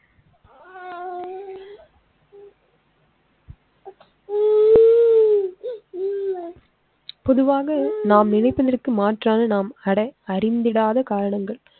பொதுவாக நாம் நினைப்பதற்கு மாற்றான நாம் அறிந்திடாத காரணங்கள்.